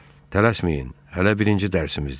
Tələsməyin, hələ birinci dərsimizdir.